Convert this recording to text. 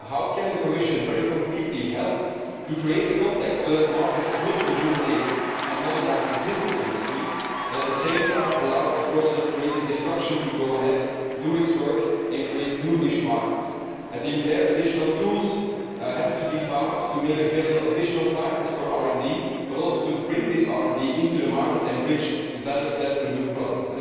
How can the Commission help in a very tangible way to create a context in which markets will rejuvenate and modernise existing industries and, at the same time, allow the process of creative destruction to go ahead, do its work and create new niche markets? I think that additional tools have to be found to make additional finance for RD available and also to bring this RD into the market and bridge the value of that for new products.